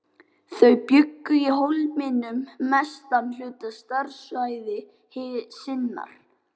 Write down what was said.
Þau bjuggu í Hólminum mestan hluta starfsævi sinnar.